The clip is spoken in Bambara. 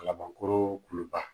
Laban koro kuluba